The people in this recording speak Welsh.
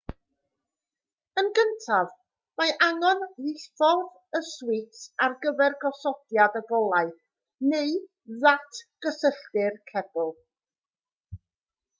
yn gyntaf mae angen diffodd y swits ar gyfer gosodiad y golau neu ddatgysylltu'r cebl